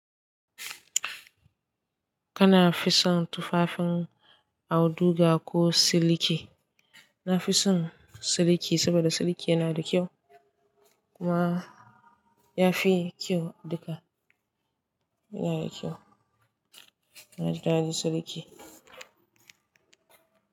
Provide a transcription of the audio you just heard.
Kana fi son tufafin auduga ko siliki? Na fi son siliki saboda siliki yana da kyau kuma ya fi kyau duka. Yana da kyau. Ina ji dadi siliki.